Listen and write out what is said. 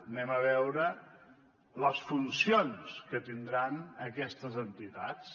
anem a veure les funcions que tindran aquestes entitats